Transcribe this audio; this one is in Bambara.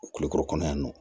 O kulukɔrɔ kɔnɔ yan nɔ